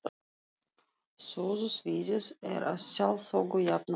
Sögusviðið er að sjálfsögðu jafnan utan